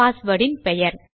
password இன் பெயர்